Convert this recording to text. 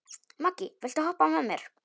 Maggý, viltu hoppa með mér?